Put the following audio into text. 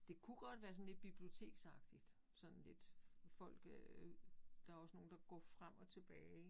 Det kunne godt være sådan lidt biblioteksagtigt sådan lidt folk øh der også nogen der går frem og tilbage